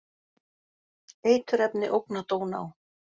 Eiturefni ógna Dóná